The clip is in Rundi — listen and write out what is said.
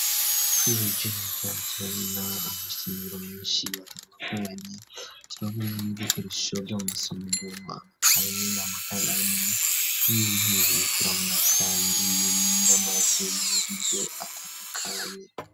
Twihweje turabona amasomero menshi atandukanye turabona n'ibikoresho vya masomero amakaye amakaramu n'intebe turabona kandi n'amazu y'uburiro atandukanye.